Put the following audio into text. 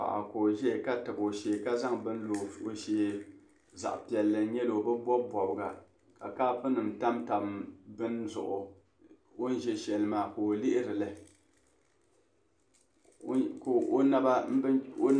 Paɣa ka o ʒia ka tabi o shee ka zaŋ bini lo o shee zaɣ' piɛlli n-nyɛ li o bi bɔbi bɔbiga ka kopunima tamtam bini zuɣu o ni za shɛli maa ka o lihiri li.